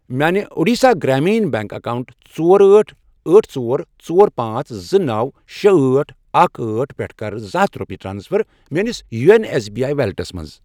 میانہِ Odisha Gramin Bank account ژور، أٹھ، أٹھ، ژور، ژور، پانژھ، زٕ، نوَ، شے، أٹھ، اکھَ، أٹھ، پٮ۪ٹھٕ کر زٕ ہتھَ رۄپیہِ ٹرانسفر میٲنِس یونو ایٚس بی آی ویلیٹَس مَنٛز۔